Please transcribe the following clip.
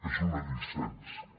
és una llicència